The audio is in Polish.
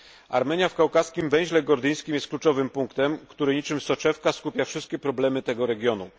Armenia w kaukaskim węźle gordyjskim jest kluczowym punktem, który niczym soczewka skupia wszystkie problemy tego regionu.